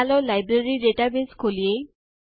ચાલો library database ખોલીએ